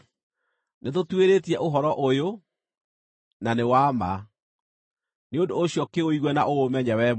“Nĩtũtuĩrĩtie ũhoro ũyũ, na nĩ wa ma. Nĩ ũndũ ũcio kĩũigue na ũũmenye wee mwene.”